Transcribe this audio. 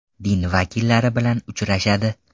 Din vakillari bilan uchrashadi.